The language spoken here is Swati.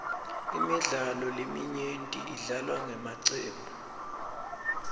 imidlalo leminyenti idlalwa ngemacembu